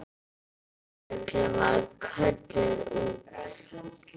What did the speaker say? Lögreglan var kölluð út.